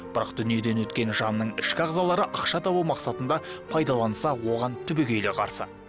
бірақ дүниеден өткен жанның ішкі ағзалары ақша табу мақсатында пайдаланса оған түбегейлі қарсы